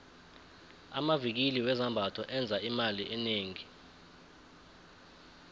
amvikili wezambatho enza imali enengi